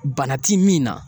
Bana ti min na